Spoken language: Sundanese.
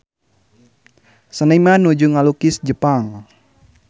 Seniman nuju ngalukis Jepang